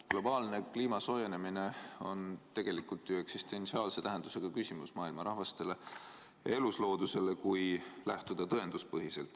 Globaalne kliima soojenemine on tegelikult ju eksistentsiaalse tähendusega probleem maailma rahvastele ja elusloodusele, kui läheneda tõenduspõhiselt.